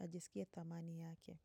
ajisikie thamani yake.